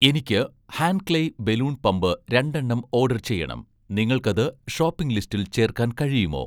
എനിക്ക് 'ഹാൻക്ലെയ്‌' balloon pump രണ്ടെണ്ണം ഓഡർ ചെയ്യണം, നിങ്ങൾക്കത് ഷോപ്പിംഗ് ലിസ്റ്റിൽ ചേർക്കാൻ കഴിയുമോ?